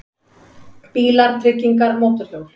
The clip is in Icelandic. BÍLAR, TRYGGINGAR, MÓTORHJÓL